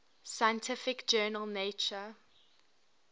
scientific journal nature